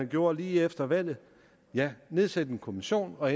gjorde lige efter valget den nedsatte en kommission og